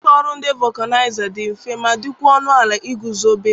Ụlọ ọrụ ndị vọkanaịza dị mfe ma dịkwa ọnụ ala ị guzobe.